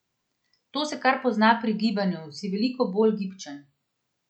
To se kar pozna pri gibanju, si veliko bolj gibčen.